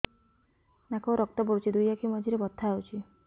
ନାକରୁ ରକ୍ତ ପଡୁଛି ଦୁଇ ଆଖି ମଝିରେ ବଥା ହଉଚି